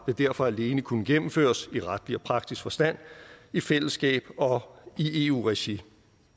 vil derfor alene kunne gennemføres i retlig og praktisk forstand i fællesskab i eu regi